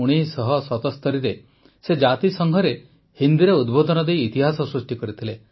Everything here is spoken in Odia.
୧୯୭୭ରେ ସେ ଜାତିସଂଘରେ ହିନ୍ଦୀରେ ଉଦବୋଧନ ଦେଇ ଇତିହାସ ସୃଷ୍ଟି କରିଥିଲେ